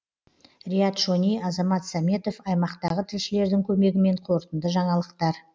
риат шони азамат сәметов аймақтағы тілшілердің көмегімен қорытынды жаңалықтар